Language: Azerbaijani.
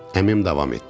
Əmim davam etdi.